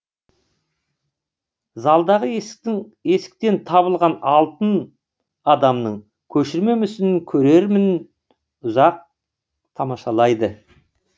залдағы есіктен табылған алтын адамның көшірме мүсінін көрермін ұзақ тамашалайды